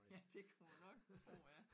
Ja det kunne man nok tro ja